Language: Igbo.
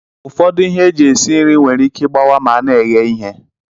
Ufọdụ ihe eji esi nri nwere ike igbawa ma ana eghe ihe.